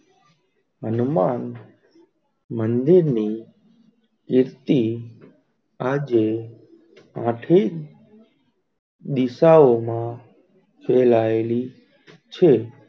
હનુમાન મંદિર ની દીપતી આજે આઠમી દિશાઓ માં ફેલાયેલી છે.